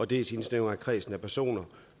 dels indsnævrer det kredsen af personer